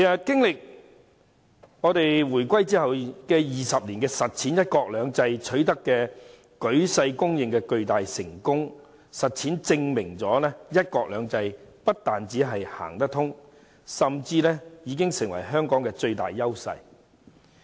經歷回歸20年，"一國兩制"取得舉世公認的巨大成功，正好從實踐中證明"一國兩制"不但行得通，甚至已經成為香港的最大優勢。